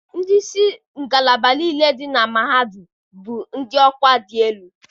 Ndị isi ngalaba niile dị na mahadum bụ ndị ọkwa dị elu.